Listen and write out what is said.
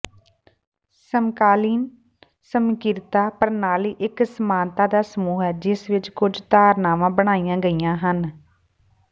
ਸਮਕਾਲੀਨ ਸਮੀਕਰਤਾ ਪ੍ਰਣਾਲੀ ਇਕ ਸਮਾਨਤਾ ਦਾ ਸਮੂਹ ਹੈ ਜਿਸ ਵਿਚ ਕੁਝ ਧਾਰਨਾਵਾਂ ਬਣਾਈਆਂ ਗਈਆਂ ਹਨ